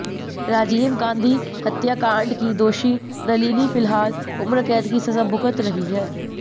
राजीव गांधी हत्याकांड की दोषी नलिनी फिलहाल उम्रकैद की सजा भुगत रही है